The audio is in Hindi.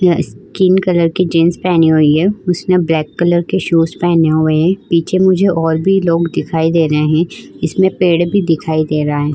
यह स्किन कलर की जीन्स पहनी हुई है। उसने ब्लैक कलर के शूज़ पेहने हुए हैं। पीछे मुझे और भी लोग दिखाई दे रहे हैं। इसमें पेड़ भी दिखाई दे रहा है।